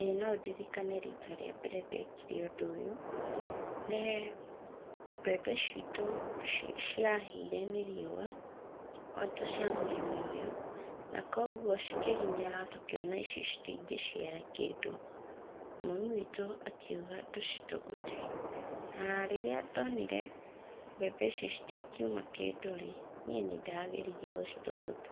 ĩ, no ndirikane rita rĩa mbere ndekire ũndũ ũyũ. Nĩ mbembe citũ ciahĩire nĩ rĩua o ta cia mũrĩmi ũyũ. Na kwoguo cikĩhinyara tũkĩona ici citingĩciara kĩndũ. Mami witũ akiuga tũcitũgũte. Rĩrĩa ndonire mbembe ici citingiuma kĩndũ rĩ, niĩ nĩndageririe gũcitũgũta.